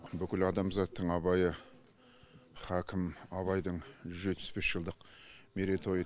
бүкіл адамзаттың абайы хакім абайдың жүз жетпіс бес жылдық мерейтойы